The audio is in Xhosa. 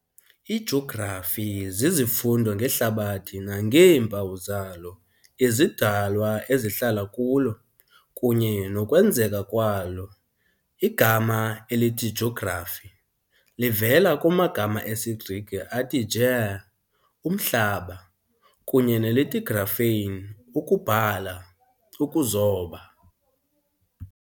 IJografi zizifundo ngeHlabathi nangeempawu zalo, izidalwa ezihlala kulo, kunye nokwenzeka kwalo. Igama elithi jografi livela kumagama esiGrike athi gê Umhlaba kunye nelithi graphein ukubhala, ukuzoba.